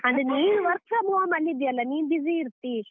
ಆದ್ರೆ ನೀನು work from home ಅಲ್ಲಿ ಇದ್ಯಲ್ಲ, ನೀನ್ busy ಇರ್ತಿ.